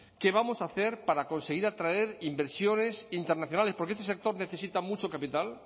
qué vamos a hacer para conseguir atraer inversiones internacionales porque este sector necesita mucho capital